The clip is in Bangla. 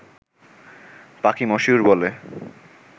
পাখি মশিউর' বলে